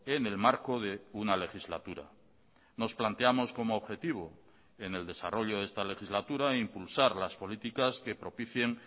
en el marco de una legislatura nos planteamos como objetivo en el desarrollo de esta legislatura impulsar las políticas que propicien